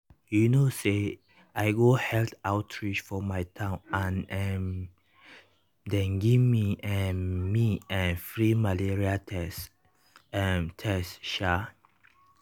you know say i go health outreach for my town and um dem give um me[um]free malaria tests. um tests. um